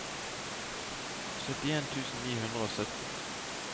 syttien tusen ni hundre og sytten